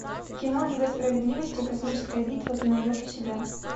кино лига справедливости космическая битва ты найдешь у себя